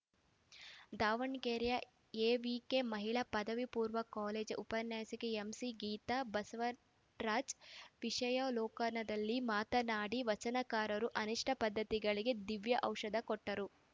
Davanagere AVK ಮಹಿಳಾ ಪದವಿ ಪೂರ್ವ ಕಾಲೇಜು ಉಪನ್ಯಾಸಕಿ ಎಂಸಿಗೀತಾ ಬಸವರಾಜ್ ವಿಷಯಾವಲೋಕನದಲ್ಲಿ ಮಾತನಾಡಿ ವಚನಕಾರರು ಅನಿಷ್ಠ ಪದ್ಧತಿಗಳಿಗೆ ದಿವ್ಯಔಷಧ ಕೊಟ್ಟರು